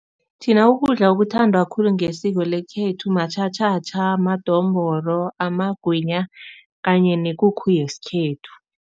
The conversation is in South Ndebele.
Thina ukudla okuthandwa khulu ngesiko lekhethu matjhatjhatjha, madombolo, amagwinya kanye nekukhu yesikhethu.